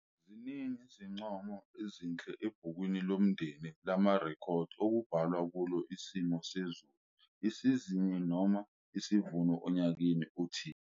Ziningi zincomo ezinhle ebhukwini lomndeni lamarekhodi okubhalwa kulo isimo sezulu, isizini noma isivuno onyakeni othile.